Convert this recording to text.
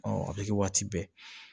a bɛ kɛ waati bɛɛ